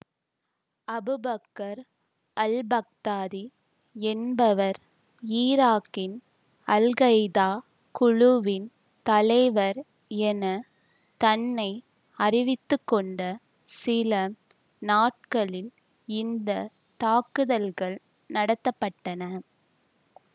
Abu Bakr al Baghdadi என்பவர் ஈராக்கின் al Qaeda குழுவின் தலைவர் என தன்னை அறிவித்துக்கொண்ட சில நாட்களில் இந்த தாக்குதல்கள் நடத்த பட்டன